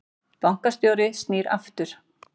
Bankastjóri snýr aftur